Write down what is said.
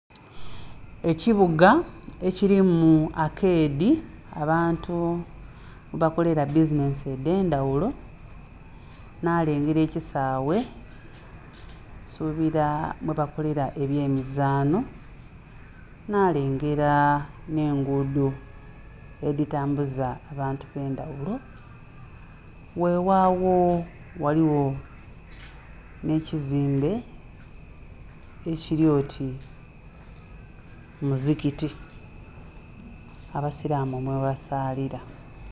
Ekibuga ekilimu akeedi abantu mwe bakolela bizinhensi edhe ndhaghulo nha lengera ekisaaghe nsubila mwe bakolela ebye mizaanho nha lengera nhe engudho edhitambuza abantu abendhaghulo weghagho ghaligho nhe kizimbe ekili oti muzikiti abasilamu mwe basaalila.